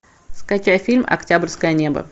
скачай фильм октябрьское небо